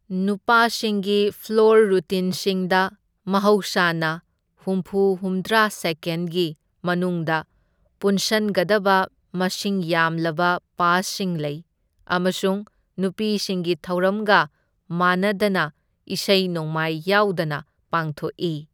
ꯅꯨꯄꯥꯁꯤꯡꯒꯤ floor ꯔꯨꯇꯤꯟꯁꯤꯡꯗ ꯃꯍꯧꯁꯥꯅ ꯍꯨꯝꯐꯨ ꯍꯨꯝꯗ꯭ꯔꯥ ꯁꯦꯀꯦꯟꯗꯒꯤ ꯃꯅꯨꯡꯗ ꯄꯨꯟꯁꯟꯒꯗꯕ ꯃꯁꯤꯡ ꯌꯥꯝꯂꯕ ꯄꯥꯁꯁꯤꯡ ꯂꯩ ꯑꯃꯁꯨꯡ ꯅꯨꯄꯤꯁꯤꯡꯒꯤ ꯊꯧꯔꯝꯒ ꯃꯥꯟꯅꯗꯅ ꯏꯁꯩ ꯅꯣꯡꯃꯥꯏ ꯌꯥꯎꯗꯅ ꯄꯥꯡꯊꯣꯛꯏ꯫